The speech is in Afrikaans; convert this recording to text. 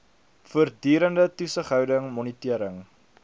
voortdurende toesighouding monitering